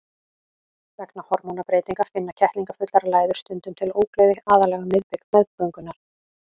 Vegna hormónabreytinga finna kettlingafullar læður stundum til ógleði, aðallega um miðbik meðgöngunnar.